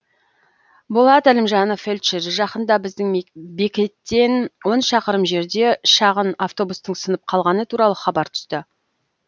болат әлімжанов фельдшер жақында біздің бекеттен он шақырым жерде шағын автобустың сынып қалғаны туралы хабар түсті